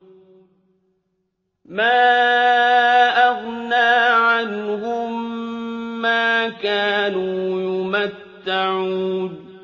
مَا أَغْنَىٰ عَنْهُم مَّا كَانُوا يُمَتَّعُونَ